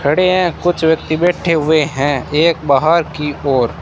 खड़े हैं कुछ व्यक्ति बैठे हुए हैं एक बाहर की ओर--